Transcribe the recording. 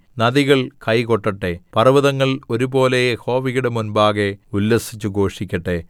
നദികൾ കൈ കൊട്ടട്ടെ പർവ്വതങ്ങൾ ഒരുപോലെ യഹോവയുടെ മുമ്പാകെ ഉല്ലസിച്ചുഘോഷിക്കട്ടെ